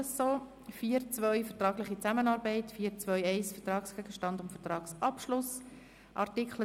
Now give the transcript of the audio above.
4.2 Vertragliche Zusammenarbeit 4.2.1 Vertragsgegenstand und Vertragsabschluss Art.